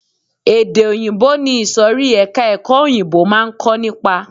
Èdè òyìnbó ni ìsòrí ẹka ẹ̀kọ́ òyìnbó máa ń kó nípa.